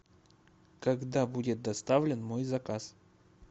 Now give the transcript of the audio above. когда будет доставлен мой заказ